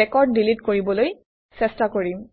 record delete কৰিবলৈ চেষ্টা কৰিম